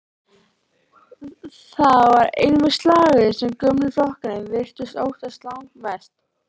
Það var einmitt slagorðið sem gömlu flokkarnir virtust óttast langmest.